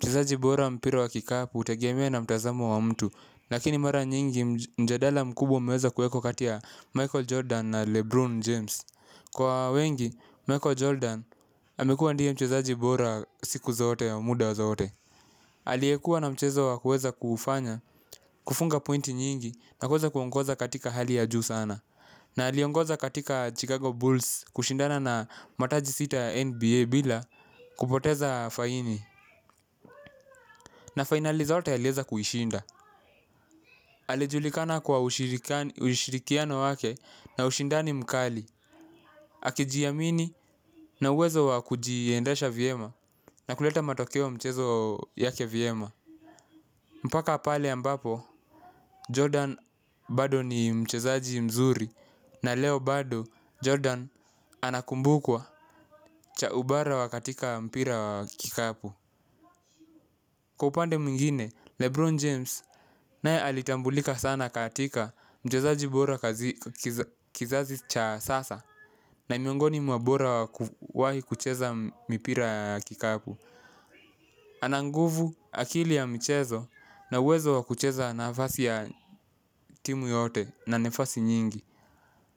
Mchezaji bora mpira wa kikapu utegemia na mtazamo wa mtu, lakini mara nyingi mjadala mkubwa umeweza kuekwa katia ya Michael Jordan na Lebron James. Kwa wengi michael jordan amekuwa ndiye mchezaji bora siku zote au muda zote. Aliyekua na mchezo wa kuweza kuufanya, kufunga pointi nyingi na kuweza kuongoza katika hali ya juu sana. Na aliongoza katika Chicago Bulls kushindana na mataji sita NBA bila kupoteza faini. Na finali zote a lieza kuishinda. Alijulikana kwa ushirikiano wake na ushinda ni mkali. Akijiamini na uwezo wa kujiiendasha vyema na kuleta matokeo mchezo yake viema. Mpaka pale ambapo, Jordan bado ni mchezaji mzuri na leo bado Jordan anakumbukwa cha ubara wa katika mpira wa kikapu. Kwa upande mwingine lebron james naye alitambulika sana katika mchezaji bora kazi kizazi cha sasa na ni miongoni mwa bora waku wahi kucheza mipira ya kikapu. Ananguvu akili ya mchezo na uwezo wa kucheza na fasi ya timu yote na nefasi nyingi.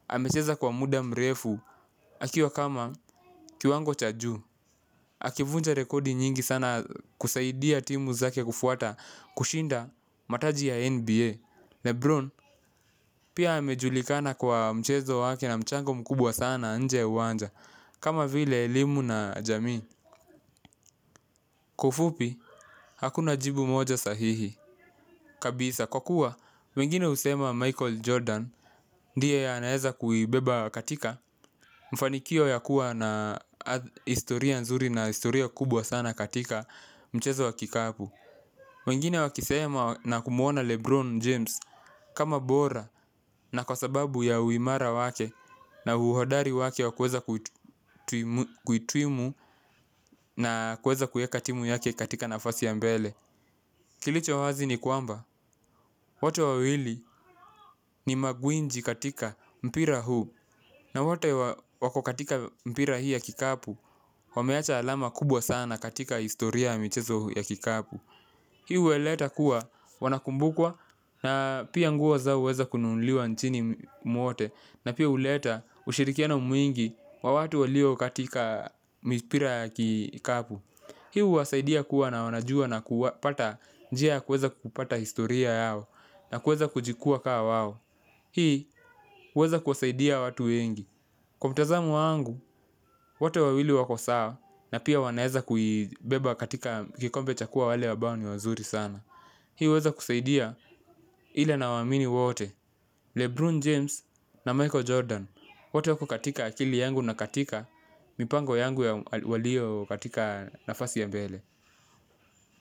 Amecheza kwa mda mrefu akiwa kama kiwango cha juu. Akivunja rekodi nyingi sana kusaidia timu zake kufuata kushinda mataji ya NBA Lebron pia amejulikana kwa mchezo wake na mchango mkubwa sana nje ya uwanja. Kama vile elimu na jamii. Kwa ufupi, hakuna jibu moja sahihi. Kabisa kwa kuwa, mengine usema Michael Jordan. Ndiye a naeza kuibeba katika mfanikio ya kuwa na historia nzuri na historia kubwa sana katika mchezo wa kikapu. Wengine wakiseema na kumuona Lebron James kama bora na kwa sababu ya uimara wake. Na uhodari wake wakuweza kuitwimu na kuweza kuiekatimu yake katika nafasi ya mbele. Kilicho wazi ni kwamba, wote wawili ni magwinji katika mpira huu. Na wote wako katika mpira hii ya kikapu, wameacha alama kubwa sana katika historia mchezo ya kikapu. Hii u weleta kuwa, wanakumbukwa, na pia nguo zao uweza kununuliwa nchini mwote, na pia uleta ushirikiano mwingi wa watu walio katika mpira ya kikapu. Hii u wasaidia kuwa na wanajua na kupata njia kuweza kupata historia yao, na kuweza kujikuwa kawao. Hii uweza kuwasaidia watu wengi. Kwa mtazamo wangu, wote wawili wako sawa na pia wanaeza kuibeba katika kikombe chakuwa wale ambao ni wazuri sana. Hii uweza kusaidia hile na waamini wote, Lebron James na Michael Jordan. Wote wako katika akili yangu na katika mipango yangu walio katika nafasi ya mbele.